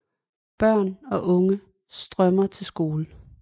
Børn og unge strømmer til skole